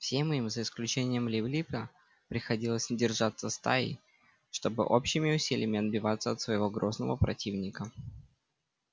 всем им за исключением лип липа приходилось держаться стаей чтобы общими усилиями отбиваться от своего грозного противника